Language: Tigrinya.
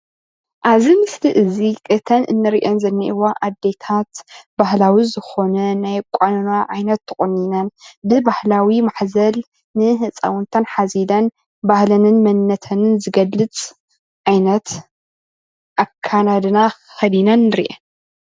ኣብዚ ምስሊ እዚ እተን እንሪአን ዝንአዋ ኣዴታት ባህላዊ ዝኮነ ናይ ኣቆናንና ዓይነት ተቆኒነን ብባህላዊ ማሕዘል ንህፃውንተን ሓዚለን ባህለንን መንነተንን ዝገልፅ ዓይነት ኣከዳድና ከዲነን ንርአን፡፡